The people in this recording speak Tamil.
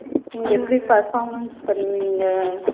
நீங்க எப்படி performance பண்ணுவிங்க